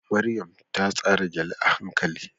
Maryam ta tsara gele a hankali